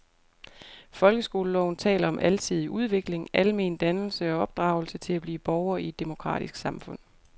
Folkeskoleloven taler om alsidig udvikling, almen dannelse og opdragelse til at blive borger i et demokratisk samfund.